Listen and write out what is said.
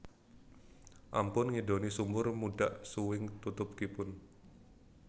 Ampun ngidoni sumur mundhak suwing tutukipun